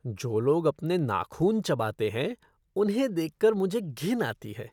जो लोग अपने नाखून चबाते हैं उन्हें देख कर मुझे घिन आती है।